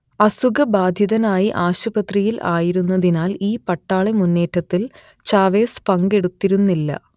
അസുഖബാധിതനായി ആശുപത്രിയിൽ ആയിരുന്നതിനാൽ ഈ പട്ടാളമുന്നേറ്റത്തിൽ ചാവേസ് പങ്കെടുത്തിരുന്നില്ല